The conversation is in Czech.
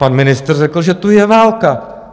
Pan ministr řekl, že tu je válka.